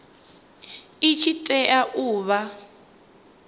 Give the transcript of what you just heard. i tshi tea u vha